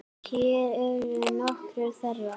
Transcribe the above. Hér eru nokkur þeirra.